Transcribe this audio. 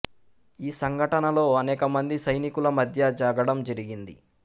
ఈ సంఘటనలో అనేక మంది సైనికుల మధ్య జగడం జరిగింది